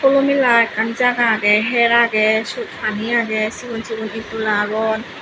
hulo mela ekkan jaga agey hyer agey pani agey cigon cigon etdola agon.